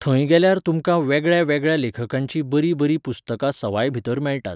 थंय गेल्यार तुमकां वेगळ्या वेगळ्या लेखकांचीं बरीं बरीं पुस्तकां सवाय भितर मेळटात.